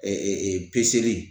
peseli